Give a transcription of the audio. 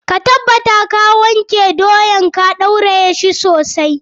Ka tabbata ka wanke ka ɗauraye doyan sosai.